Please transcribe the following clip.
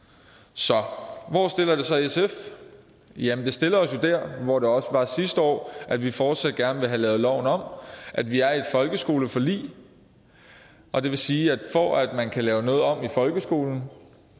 så hvor stiller det så sf jamen det stiller os jo der hvor vi også var sidste år at vi fortsat gerne vil have lavet loven om at vi er i et folkeskoleforlig og det vil sige at for at man kan lave noget om i folkeskolen